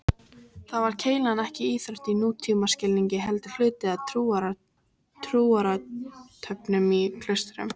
Þar var keilan ekki íþrótt í nútímaskilningi heldur hluti af trúarathöfnum í klaustrum.